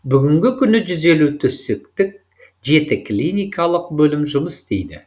бүгінгі күні жүз елу төсектік жеті клиникалық бөлім жұмыс істейді